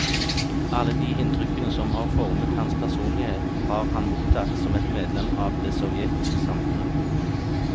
Alle de inntrykkene som har formet hans personlighet, har han mottatt som et medlem av det sovjetiske samfunnet.